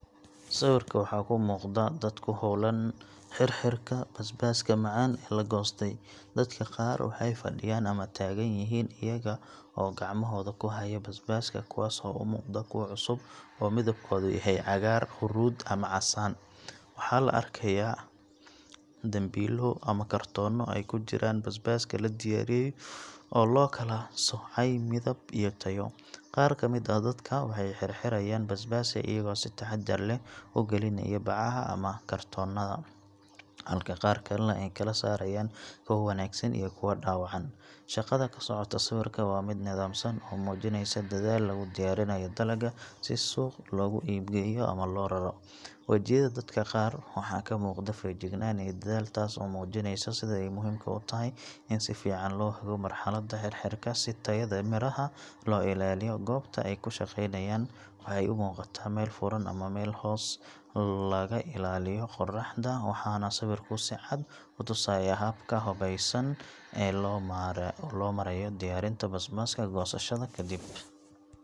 Sawirka waxaa ka muuqda dad ku howlan xirxirka basbaaska macaan ee la goostay. Dadka qaar waxay fadhiyan ama taagan yihiin iyaga oo gacmahooda ku haya basbaaska, kuwaas oo u muuqda kuwo cusub oo midabkoodu yahay cagaar, huruud ama casaan. Waxaa la arkayaa dambiilo ama kartoonno ay ku jiraan basbaaska la diyaariyey oo loo kala soocay midab iyo tayo. Qaar ka mid ah dadka waxay xirxirayaan basbaaska iyaga oo si taxaddar leh u gelinaya bacaha ama kartoonnada, halka qaar kalena ay kala saarayaan kuwa wanaagsan iyo kuwa dhaawacan. Shaqada ka socota sawirka waa mid nidaamsan oo muujinaysa dadaal lagu diyaarinayo dalagga si suuq loogu iib geeyo ama loo raro. Wajiyada dadka qaar waxaa ka muuqda feejignaan iyo dadaal, taas oo muujinaysa sida ay muhiimka u tahay in si fiican loo hago marxaladda xirxirka si tayada midhaha loo ilaaliyo. Goobta ay ku shaqeynayaan waxay u muuqataa meel furan ama meel hoos laga ilaaliyo qoraxda, waxaana sawirku si cad u tusayaa habka habaysan ee loo marayo diyaarinta basbaaska goosashada kadib.